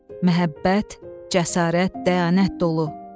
Məhəbbət, cəsarət, dəyanət dolu.